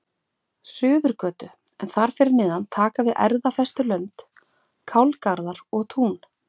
Suðurgötu, en þar fyrir neðan taka við erfðafestulönd, kálgarðar og tún.